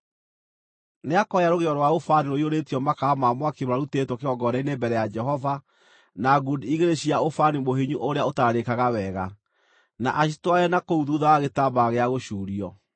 Nĩakoya rũgĩo rwa ũbani rũiyũrĩtio makara ma mwaki marutĩtwo kĩgongona-inĩ mbere ya Jehova, na ngundi igĩrĩ cia ũbani mũhinyu ũrĩa ũtararĩkaga wega, na acitware na kũu thuutha wa gĩtambaya gĩa gũcuurio.